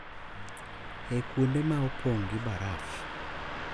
E kuonde ma opong’ gi baraf.